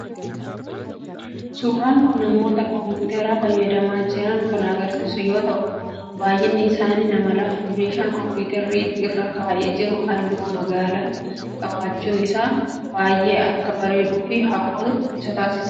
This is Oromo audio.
Suuraan kun namoota koomputara fayyadamaa jiran kan agarsiisu yoo ta'u baayyinnii isaanii nama lama. Meeshan koomputarri irra taa'ee jiru halluu magaalaa qabaachuun isaa baayyee akka bareeduu fi hawwatu isa taasiseera.